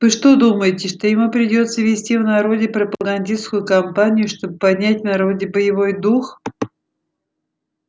вы что думаете что ему придётся вести в народе пропагандистскую кампанию чтобы поднять в народе боевой дух